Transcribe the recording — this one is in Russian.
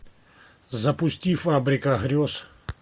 запусти фабрика грез